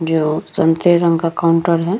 जो संतरे रंग का काउंटर है।